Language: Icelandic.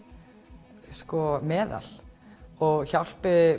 meðal hjálpi